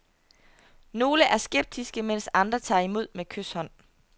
Nogle er skeptiske, mens andre tager imod med kyshånd.